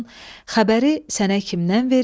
Xəbəri sənə kimdən verim?